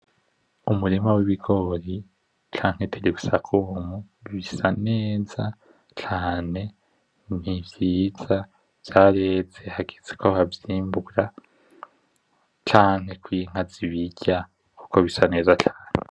Umurima w'ibigori canke tiribusakumu, bisa neza cane. Nivyiza vyareze hageze ko bavyimbura, canke ko inka zibirya kuko bisa neza cane.